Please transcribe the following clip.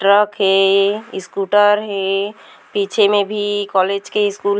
truck हे scooter हे पीछे में भी कॉलेज के स्कूल --